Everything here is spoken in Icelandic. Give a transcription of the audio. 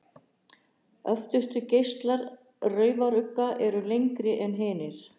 Öftustu geislar raufarugga eru lengri en hinir.